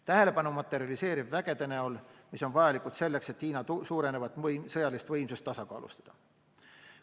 Tähelepanu materialiseerub üksuste näol, mis on vajalikud selleks, et Hiina suurenevat sõjalist võimsust tasakaalustada.